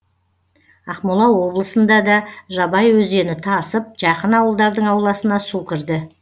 ақмола облысында да жабай өзені тасып жақын ауылдардың ауласына су кірді